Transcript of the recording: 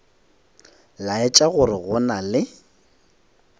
laetša gore go na le